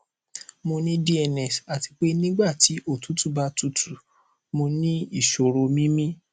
mo ní dns àti pé nígbà tí òtútù bá tutù mo ní ìṣòro mímí